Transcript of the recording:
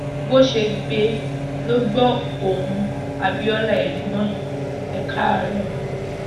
bó ṣe gbé e lọ gbóhùn abiola ẹgbọn ẹ káàárọ